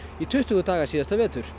í tuttugu daga síðasta vetur